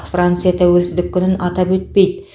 франция тәуелсіздік күнін атап өтпейді